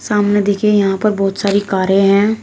सामने देखिये यहां पर बहोत सारी कारे हैं।